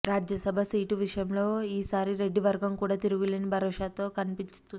Rajya Sabha seat విషయంలో ఈసారి రెడ్డి వర్గం కూడా తిరుగులేని భరోసాతో కనిపిస్తోంది